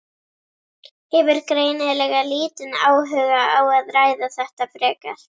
Hefur greinilega lítinn áhuga á að ræða þetta frekar.